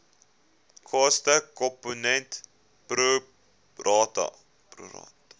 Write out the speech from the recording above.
kostekomponent pro rata